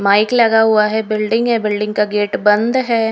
Mic लगा हुआ है बिल्डिंग है बिल्डिंग का गेट बंद है।